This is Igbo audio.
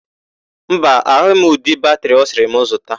Mba, ahụghị m ụdị batịrị ọ sịrị m zụta.